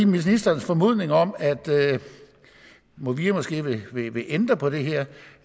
ministerens formodning om at movia måske vil vil ændre på det her